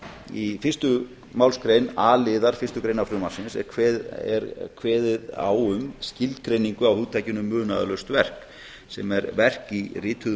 í fyrstu málsgrein a liðar fyrstu greinar frumvarpsins er kveðið á um skilgreindu á hugtakinu munaðarlaust verk sem er verk í rituðu